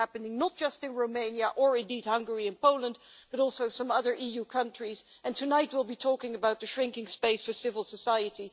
This is happening not just in Romania or Hungary and Poland, but also in some other EU countries, and tonight we will be talking about the shrinking space for civil society.